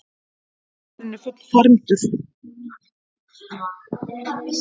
Báturinn er fullfermdur.